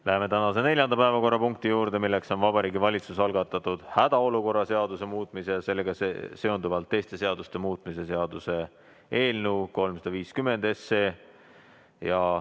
Läheme tänase neljanda päevakorrapunkti juurde, milleks on Vabariigi Valitsuse algatatud hädaolukorra seaduse muutmise ja sellega seonduvalt teiste seaduste muutmise seaduse eelnõu 350.